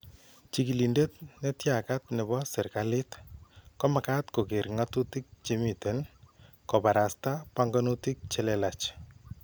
Chikilindet netyakat nebo serikaliit komagat kokeer ng'atutik chemiten , kobarasta panganutik chelelach